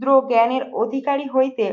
শূদ্র জ্ঞানের অধিকারী হইতে